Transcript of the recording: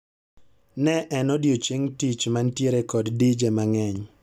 Ne en odiechieng' tich mantiere kod dije mang'eny